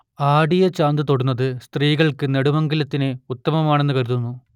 ആടിയ ചാന്ത് തൊടുന്നത് സ്ത്രീകൾക്ക് നെടുമംഗല്യത്തിൻ ഉത്തമമാണെന്ന് കരുതുന്നു